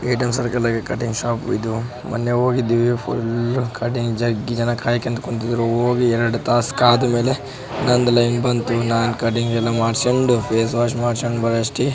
cutting shop ಇದು ಮೊನ್ನೆ ಹೋಗಿದ್ವಿ ಫುಲ್ಲ್ ಕಟ್ಟಿಂಗ್ ಜಗ್ಗಿ ಜನ ಕಾಯ್ಕೊಂಡು ಕುಂತಿದ್ರು ಹೋಗಿ ಎರಡ್ ತಾಸ್ ಕಾದ್ಮೇಲೆ ನಂದ್ ಲೈನ್ ಬಂತು ನಾನ್ ಕಟ್ಟಿಂಗ್ ಎಲ್ಲ ಮಾಡ್ಸ್ಕೊಂಡು ಫೇಸ್ ವಾಷ್ ಮಾಡ್ಸ್ಕೊಂಡ್ ಬರೋವಷ್ಟಿಗೆ --